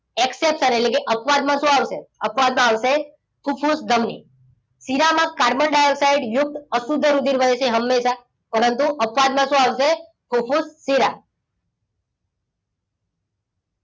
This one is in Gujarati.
exceptions એટલે કે અપવાદ માં શું આવશે? અપવાદ માં આવશે ફૂફુસ ધમનિ. શિરામાં કાર્બન ડાયોક્સાઇડ યુક્ત અશુદ્ધ રુધિર વહે છે હંમેશા. પરંતુ અપવાદ માં શું આવશે? ફૂફુસ શિરા.